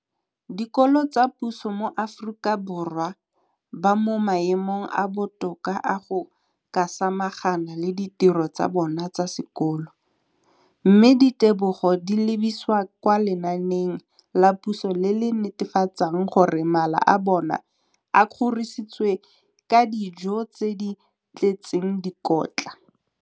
dikolo tsa puso mo Aforika Borwa ba mo maemong a a botoka a go ka samagana le ditiro tsa bona tsa sekolo, mme ditebogo di lebisiwa kwa lenaaneng la puso le le netefatsang gore mala a bona a kgorisitswe ka dijo tse di tletseng dikotla.